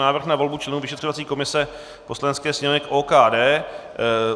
Návrh na volbu členů vyšetřovací komise Poslanecké sněmovny k OKD